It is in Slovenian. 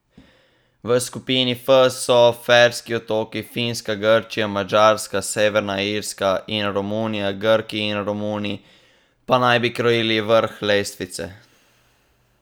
V skupini F so Ferski otoki, Finska, Grčija, Madžarska, Severna Irska in Romunija, Grki in Romuni pa naj bi krojili vrh lestvice.